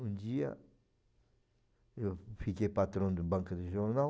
Um dia eu fiquei patrão da banca de jornal,